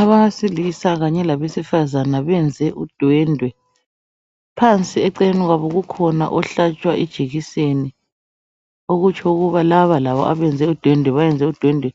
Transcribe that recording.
Abesilisa kanye labesifazana benze udwendwe. Phansi eceleni kwabo ukhona ohlatshwa ijekiseni okutsho ukuba laba labo abenze udwendwe, bayenze udwendwe